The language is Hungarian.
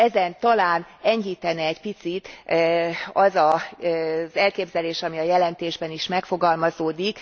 Ezen talán enyhítene egy picit az az elképzelés, ami a jelentésben is megfogalmazódik.